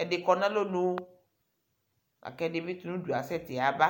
Ɛdɩ kɔ nʋ alɔnu la kʋ ɛdɩ bɩ tʋ nʋ udu asɛtɩ yaba